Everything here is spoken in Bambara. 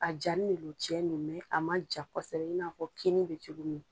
A jani le lo cɛn no a man ja kosɛbɛ i n'a fɔ kini bɛ cogo min.